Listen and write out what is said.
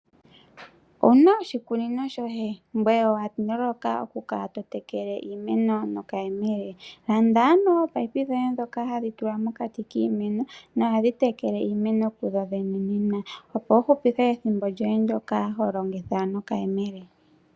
Owuna oshikunino shoye, ngoye owaloloka oku kala totekele iimeno nokayemele? Landa ano ominino dhoye ndhoka hadhi tulwa mokati kiimeno nohadhi tekele iimeno kudhodhene opo wuhupithe ethimbo lyoye lyoka holongitha nokayemele.